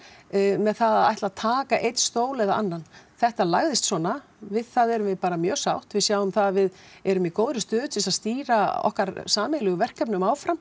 með það að ætla taka einn stól eða annan þetta lagðist svona við það erum við bara mjög sátt við sjáum það að við erum í góðri stöðu til að stýra okkar sameiginlegu verkefnum áfram